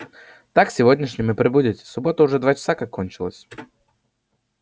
так сегодняшним и прибудете суббота уже два часа как кончилась